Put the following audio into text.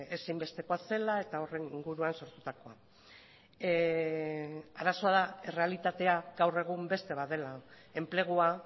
ezinbestekoa zela eta horren inguruan sortutakoa arazoa da errealitatea gaur egun beste bat dela enplegua